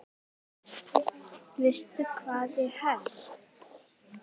Veistu hvað ég held?